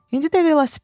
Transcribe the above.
İndi də velosiped.